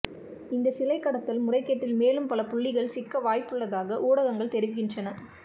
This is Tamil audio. இந்தச் சிலை கடத்தல் முறை கேட்டில் மேலும் பல புள்ளிகள் சிக்க வாய்ப்புள்ளதாக ஊடகங்கள் தெரிவிக்கின்றன